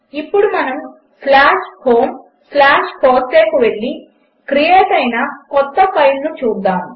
ఇప్పుడు మనము homefossee కు వెళ్ళి క్రియేట్ అయిన కొత్త ఫైల్ను చూద్దాము